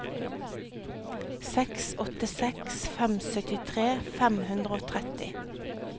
seks åtte seks fem syttitre fem hundre og tretti